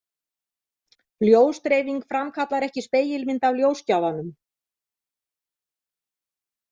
Ljósdreifing framkallar ekki spegilmynd af ljósgjafanum.